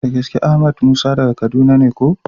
Da gaske! Ahmed Musa daga Kaduna ne ooo.